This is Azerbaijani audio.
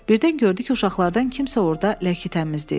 Birdən gördü ki, uşaqlardan kimsə orada ləkə təmizləyir.